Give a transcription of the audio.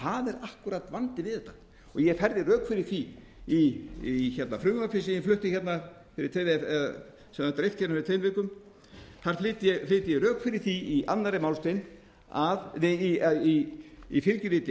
akkúrat vandinn við þetta og ég færði rök fyrir því í frumvarpi sem var dreift fyrir tveim vikum þar flyt ég rök fyrir því í fylgiskjali eitt að það